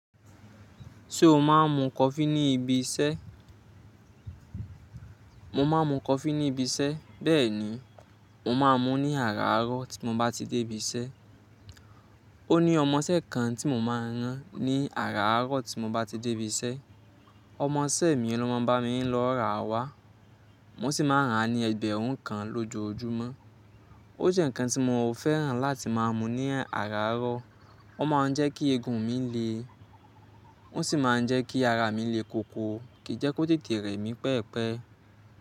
Ṣé o máa ń mu coffee ní ibi iṣẹ́? Mo máa ń mu coffee ní ibi iṣẹ́, bẹ́ẹ̀ ni, mo máa ń mu ní àràárọ̀ tí mo bá ti dé ibi iṣẹ́. Ó ní ọmọṣẹ́ kan tí mo máa ń rán ní àràárọ̀ tí mo bá ti dé ibi iṣẹ́. Ọmọṣẹ́ mi ló máa ń bá mi lọ ra wá. Mo sì máa ń rà á ní ẹgbẹ̀rún kan lójoojúmọ́. Ó jẹ́ nǹkan tí mo fẹ́ràn láti máa mu ní àràárọ̀. Ó máa ń jẹ́ kí egun mi le, ó sì máa ń jẹ́ kí ara mi le koko, kì í jẹ́ kó tètè rẹ̀ mí pẹpẹ.